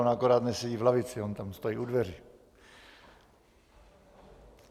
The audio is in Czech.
On akorát nesedí v lavici, on tam stojí u dveří.